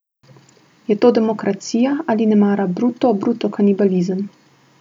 Je to demokracija, ali nemara bruto bruto kanibalizem?